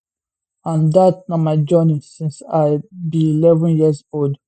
and dat na my journey since i be11 years old